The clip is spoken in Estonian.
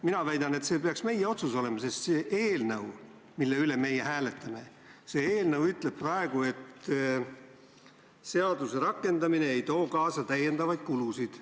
Mina väidan, et see peaks olema meie otsus, sest see eelnõu, mille üle me hääletame, ütleb praegu, et seaduse rakendamine ei too kaasa täiendavaid kulusid.